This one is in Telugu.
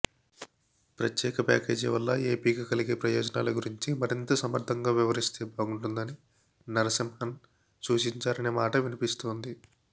ప్రత్యేక ప్యాకేజీవల్ల ఏపికి కలిగే ప్రయోజనాల గురించి మరింత సమర్థంగా వివరిస్తే బాగుంటుందని నరసింహన్ సూచించారనే మాట వినిపిస్తోంది